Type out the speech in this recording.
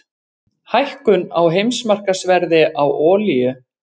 Hækkun á heimsmarkaðsverði á olíu